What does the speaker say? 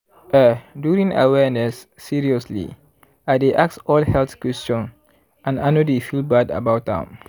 eh during awareness seriously i dey ask all health question and i no dey feel bad about am.